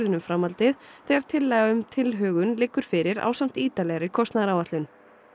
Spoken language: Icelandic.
um framhaldið þegar tillaga um tilhögun liggur fyrir ásamt ítarlegri kostnaðaráætlun